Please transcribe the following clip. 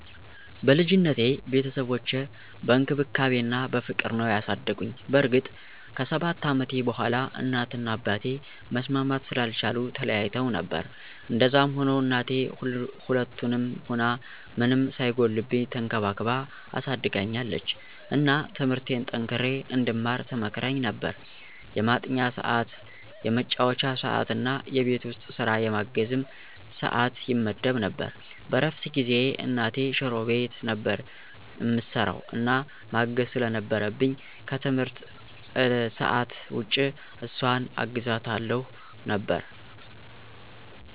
በልጅነቴ ቤተሰቦቼ በእንክብካቤ እና በፍቅር ነዉ ያሳደጉኝ። በእርግጥ ከ7 አመቴ በኋላ እናት እና አባቴ መስማማት ስላልቻሉ ተለያይተዉ ነበር። እንደዛም ሁኖ እናቴ ሁለቱንም ሁና ምንም ሳይጎልብኝ ተንከባክባ አሳድጋኛለች። እና ትምርቴን ጠንክሬ እንድማር ትመክረኝ ነበር፣ የማጥኛ ሰዕት፣ የመጫወቻ ሰዕት እና የቤት ዉስጥ ስራ የማገዝም ሰዕት ይመደብ ነበር። በእረፍት ጊዜየ እናቴ ሽሮ ቤት ነበር እምሰራዉ እና ማገዝ ስለነበረብኝ ከትምህርት ሰዕት ዉጭ እሷን አግዛታለሁ ነበር።